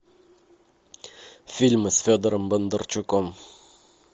фильмы с федором бондарчуком